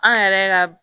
An yɛrɛ ka